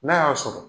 N'a y'a sɔrɔ